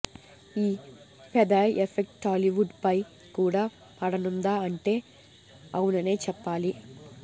ఈ Phethai effect Tollywood ఫై కూడా పడనుందా అంటే అవుననే చెప్పాలి